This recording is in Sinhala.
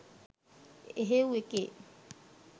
එහෙව් එකේ